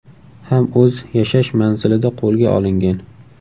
ham o‘z yashash manzilida qo‘lga olingan.